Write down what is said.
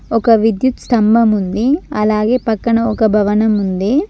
ఒక విద్యుత్ స్తంభం ఉంది అలాగే పక్కన ఒక భవనముంది.